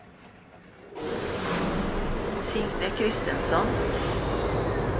Signe Kristensson